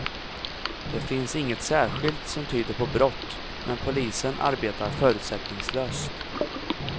Det finns inget särskilt, som tyder på brott, men polisen arbetar förutsättningslöst.